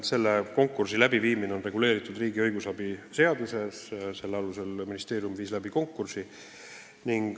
Selle konkursi läbiviimine on reguleeritud riigi õigusabi seaduses ja selle alusel ministeerium viis läbi konkursi.